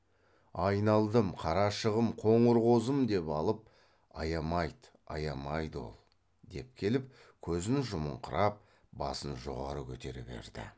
айналдым қарашығым қоңыр қозым деп алып аямайды аямайды ол деп келіп көзін жұмыңқырап басын жоғары көтере берді